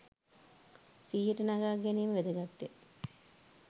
සිහියට නගා ගැනීම වැදගත් ය